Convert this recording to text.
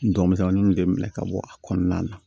N dɔgɔmisɛnninw de minɛ ka bɔ a kɔnɔna na